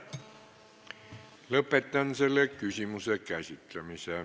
Lõpetan selle küsimuse käsitlemise.